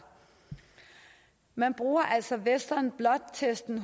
man bruger altså western blot testen